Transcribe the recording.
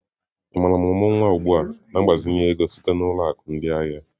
Ị maara ọmụrụ nwa ugbu a na mgbazinye ego sitere na ụlọ akụ ndị ahịa?